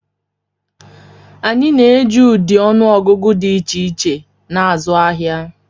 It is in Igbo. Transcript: Anyị na-eji ụdị ọnụ ọgụgụ dị iche iche na-azụ ahịa.